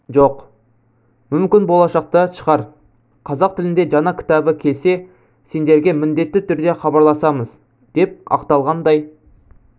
жоқ мүмкін болашақта шығар қазақ тілінде жаңа кітабы келсе сендерге міндетті түрде хабарласамыз деп ақталғандай